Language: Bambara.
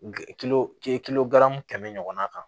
tɛmɛ ɲɔgɔnna kan